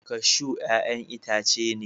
kashu ya'yan itace ne